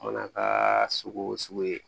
Mana kaaa sugu o sugu ye